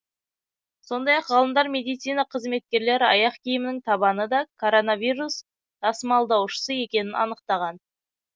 сондай ақ ғалымдар медицина қызметкерлері аяқ киімінің табаны да коронавирус тасымалдаушысы екенін анықтаған